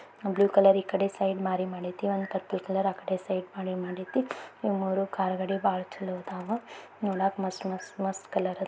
Blue colour ಈ ಕಡೆ side ಮಾರಿ ಮಾಡ್ಐತಿ ಪರ್ಪಲ್ ಕಲರ್ ಆಕಡೆ ಸೈಡ್ ಮಾರಿ ಮಾಡ್ಐತಿ. ಈ ಮೂರು ಕಾರ್ ಗಳು ಬಾಳ ಚೆಲ್ಲೋ ಅದಾವು ನೋಡಕ್ ಮಸ್ತ್ ಮಸ್ತ್ ಮಸ್ತ್ ಕಲರ್ ಅದಾವು.